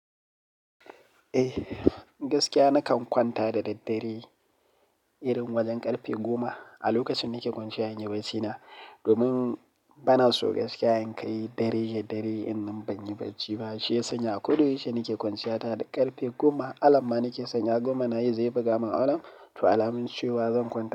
Eh, gaskiya nakan kwanta da daddare irin wajen ƙarfe goma a lokacin nike kwanciya in yi barcina. Domin bana so gaskiya in kai dare ya dare in ban yi barci ba. Shi ya sanya a koda yaushe nike kwanciya tare da ƙarfe goma. Alarm ma nike sanya goma nayi zai fi gama alarm, to alamun cewa zan kwanta.